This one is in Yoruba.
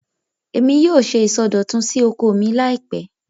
Èmi yóò ṣe ìsọdọ̀tun sí oko mi láìpẹ́